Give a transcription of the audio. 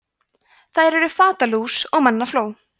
þær eru fatalús og mannafló